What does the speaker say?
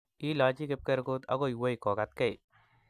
ilachi kipkerkut ako wei kokatkei